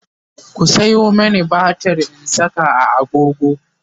ku Sayo mani batir in Saka a agogo